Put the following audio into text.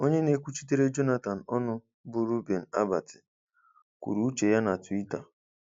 Onye na-ekwuchitere Jonathan ọnụ bụ Reuben Abati, kwuru uche ya na Twitter.